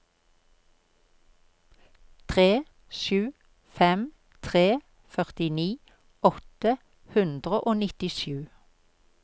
tre sju fem tre førtini åtte hundre og nittisju